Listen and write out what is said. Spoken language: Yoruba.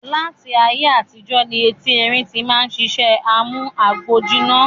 Láti ayé àtijọ́ ní eti erín tí máa ń sisẹ́ amú agbòjiná